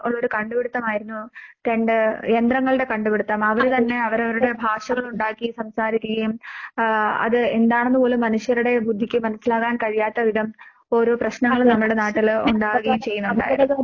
ഒള്ളൊരു കണ്ടുപിടിത്തമായിരുന്നു രണ്ട് യന്ത്രങ്ങളുടെ കണ്ടുപിടിത്തം. അവര് തന്നെ അവരവരുടെ ഭാഷകളുണ്ടാക്കി സംസാരിക്കുകയും ആഹ് അത് എന്താണെന്ന് പോലും മനുഷ്യരുടെ ബുദ്ധിക്ക് മനസ്സിലാക്കാൻ കഴിയാത്ത വിധം ഓരോ പ്രശ്നങ്ങള് നമ്മടെ നാട്ടില് ഒണ്ടാവുകയും ചെയ്യുന്നൊണ്ടായിരുന്നു.